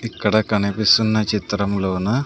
ఇక్కడ కనిపిస్తున్న చిత్రంలోన--